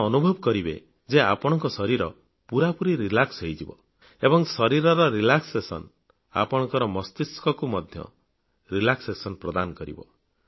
ଆପଣ ଅନୁଭବ କରିବେ ଯେ ଆପଣଙ୍କ ଶରୀର ପୂରାପୂରି ରିଲାକ୍ସ ହେଇଯିବ ଏବଂ ଶରୀରର ରିଲାକ୍ସେସନ ଆପଣଙ୍କ ମସ୍ତିଷ୍କକୁ ମଧ୍ୟ ରିଲାକ୍ସେସନ ପ୍ରଦାନ କରିବ